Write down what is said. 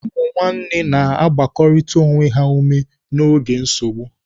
Ụmụnne na-agbakọrịta onwe ha ume n'oge nsogbu.